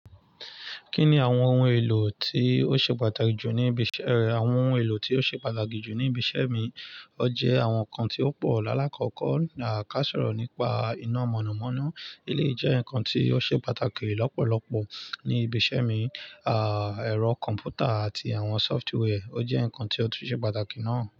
Kí ni àwọn ohun èlò tí ó ṣe pàtàkì jù ní ibi iṣẹ́ rẹ? Àwọn ohun èlò tí ó ṣe pàtàkì jù ní ibi iṣẹ́ mi ọ jẹ àwọn ǹnkan tí ó pọ̀ lálákọ̀ọ́ kọ, à ká sọ̀rọ̀ nípa iná mọ̀nàmọ́ná. Eleyii jẹ́ ǹnkan tí ó ṣe pàtàkì lọ́pọ̀lọpọ̀ ní ibi iṣẹ́ mi, à ẹ̀rọ kọ̀m̀pútà àti àwọn sọfitíwẹ́a ò jẹ́ ǹnkan tí ó tu ṣe pàtàkì náà.